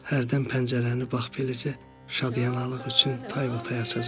Hərdən pəncərəni bax beləcə şadyanalıq üçün taybatay açacaqsan.